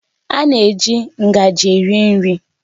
A na-eji ngaji eri nri